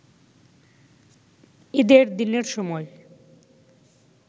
ঈদের দিনের সময়